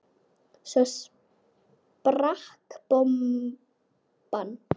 Svo sprakk bomban.